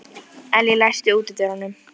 Líkið var af sléttrökuðum manni á miðjum aldri.